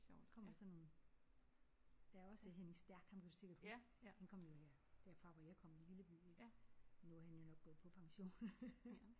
Så kommer der sådan nogle. Der er også Henning Stærk ham kan du sikkert huske han kommer jo her derfra hvor jeg kommer en lille by i. Nu er han jo nok gået på pension